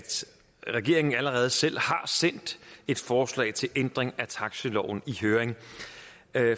regeringen allerede selv har sendt et forslag til ændring af taxiloven i høring